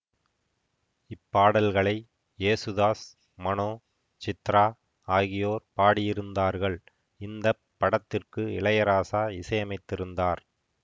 இப்பாடல்களை யேசுதாஸ் மனோ சித்ரா ஆகியோர் பாடியிருந்தார்கள் இந்த படத்திற்கு இளையராசா இசையமைத்திருந்தார்